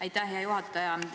Aitäh, hea juhataja!